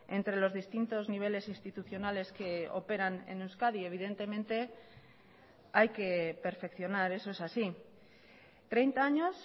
entre los distintos niveles institucionales que operan en euskadi evidentemente hay que perfeccionar eso es así treinta años